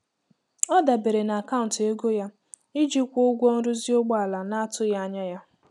Ọ dabere na akaụntụ ego ya iji kwụọ ụgwọ nrụzi ụgbọala na-atụghị anya ya.